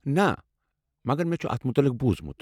نہ، مگر مےٚ چھُ اتھ متعلِق بوُزمُت۔